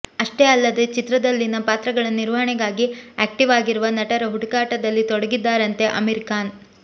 ಅಷ್ಟೇ ಅಲ್ಲದೆ ಚಿತ್ರದಲ್ಲಿನ ಪಾತ್ರಗಳ ನಿರ್ವಹಣೆಗಾಗಿ ಆಕ್ಟೀವ್ ಆಗಿರುವ ನಟರ ಹುಡುಕಾಟದಲ್ಲಿ ತೊಡಗಿದ್ದಾರಂತೆ ಅಮೀರ್ ಖಾನ್